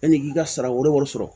Yanni i k'i ka sara wɛrɛ wari sɔrɔ